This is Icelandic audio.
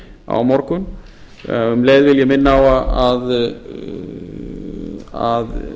á morgun um leið vil ég minna á að